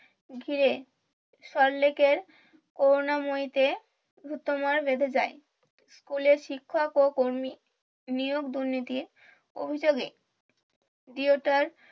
ঘিরে সল্ট লেকের করুণাময়ী তে ধুন্দুমার বেঁধে যায় স্কুলের শিক্ষক ও কর্মী নিয়োগ দুর্নীতির অভিযোগে